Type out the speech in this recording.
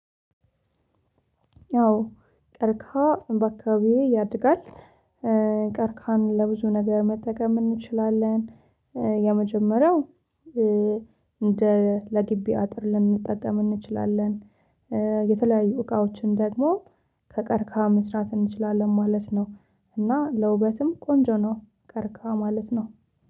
አዎ ቀርቅሃ በአባካባቢዬ ያድጋል። ቀርቅሃን ለብዙ ነገር መጠቀም እንችላለን። የመጀመሪያው እንደ ለግቢ አጥር ልንጠቀም እንችላለን። የተለያዩ እቃዎችን ደግሞ ከቀርቅሃ መስራት እንችላለን ማለት ነው። እና ለውበትም ቆንጆ ነው ቀርቅሃ ማለት ነው